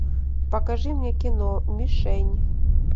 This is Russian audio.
покажи мне кино мишень